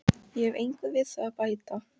Ég hef engu við það að bæta.